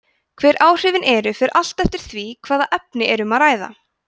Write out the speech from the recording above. hver áhrifin eru fer allt eftir því hvaða efni er um að ræða